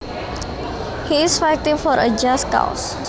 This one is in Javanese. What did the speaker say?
He is fighting for a just cause